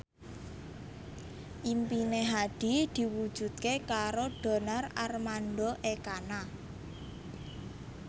impine Hadi diwujudke karo Donar Armando Ekana